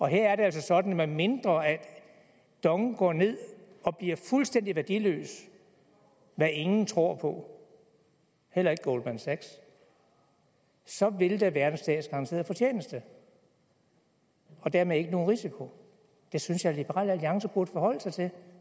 her er det altså sådan medmindre dong går ned og bliver fuldstændig værdiløst hvad ingen tror på heller ikke goldman sachs at så vil der være en statsgaranteret fortjeneste og dermed ikke nogen risiko det synes jeg liberal alliance burde forholde sig til